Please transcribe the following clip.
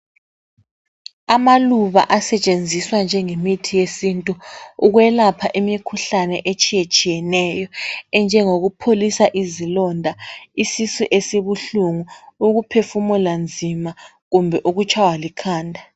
Amaluba asetshenziswa njengemithi yesintu ukwelapha imikhuhlane etshiyetshiyeneyo enjengokuoholisa izilonda lesisu esibuhlungu , ukuphefumula nzima kumbe ukutshaywa likhanda